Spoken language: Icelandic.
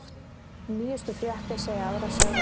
Nýjustu fréttir segja aðra sögu